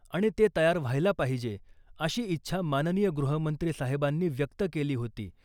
आणि ते तयार व्हायला पाहिजे अशी इच्छा माननीय गृहमंत्री साहेबांनी व्यक्त केली होती .